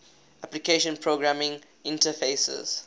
application programming interfaces